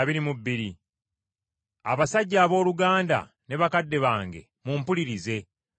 “Abasajja abooluganda, ne bakadde bange, mumpulirize.”